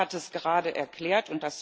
Der Kommissar hat es gerade erklärt.